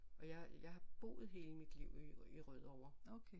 Og jeg har boet hele mit liv i Rødovre